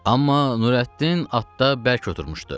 Amma Nurəddin atda bərk oturmuştu.